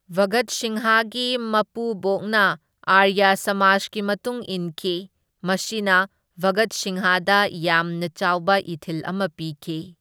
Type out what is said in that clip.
ꯚꯒꯠ ꯁꯤꯡꯍꯒꯤ ꯃꯄꯨꯕꯣꯛꯅ ꯑꯥꯔꯌꯥ ꯁꯃꯥꯖꯒꯤ ꯃꯇꯨꯡ ꯏꯟꯈꯤ, ꯃꯁꯤꯅ ꯚꯒꯠ ꯁꯤꯡꯍꯗ ꯌꯥꯝꯅ ꯆꯥꯎꯕ ꯏꯊꯤꯜ ꯑꯃ ꯄꯤꯈꯤ꯫